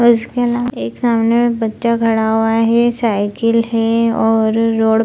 और उसके अलावा एक सामने में बच्चा खड़ा हुआ हे साइकिल है और रोड --